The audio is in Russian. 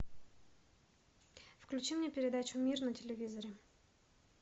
включи мне передачу мир на телевизоре